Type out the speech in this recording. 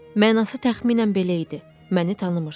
Mənası təxminən belə idi: məni tanımırıqsız.